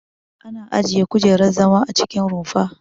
Ana ajiye kujerar zama a cikin rumfa.